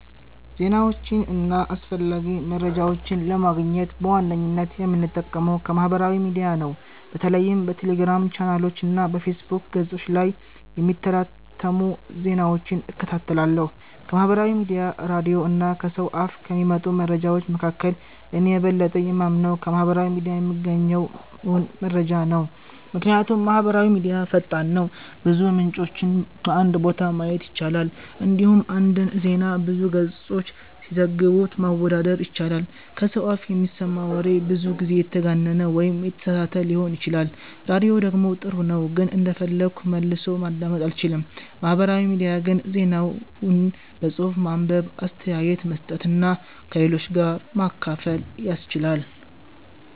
ዜናዎችን እና አስፈላጊ መረጃዎችን ለማግኘት በዋነኝነት የምጠቀመው ከማህበራዊ ሚዲያ ነው። በተለይም በቴሌግራም ቻናሎች እና በፌስቡክ ገጾች ላይ የሚታተሙ ዜናዎችን እከታተላለሁ። ከማህበራዊ ሚዲያ፣ ራዲዮ እና ከሰው አፍ ከሚመጡ መረጃዎች መካከል፣ እኔ የበለጠ የማምነው ከማህበራዊ ሚዲያ የምገኘውን መረጃ ነው። ምክንያቱም ማህበራዊ ሚዲያ ፈጣን ነው፣ ብዙ ምንጮችን በአንድ ቦታ ማየት ይቻላል፣ እንዲሁም አንድን ዜና ብዙ ገጾች ሲዘግቡት ማወዳደር ይቻላል። ከሰው አፍ የሚሰማ ወሬ ብዙ ጊዜ የተጋነነ ወይም የተሳሳተ ሊሆን ይችላል። ራዲዮ ደግሞ ጥሩ ነው ግን እንደፈለግኩ መልሶ ማዳመጥ አልችልም። ማህበራዊ ሚዲያ ግን ዜናውን በጽሁፍ ማንበብ፣ አስተያየት መስጠት እና ከሌሎች ጋር ማካፈል ያስችላል።